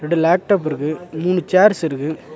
ரெண்டு லேப்டாப் இருக்கு மூணு சேர்ஸ் இருக்கு.